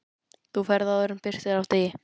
Þú ferð áður en birtir af degi.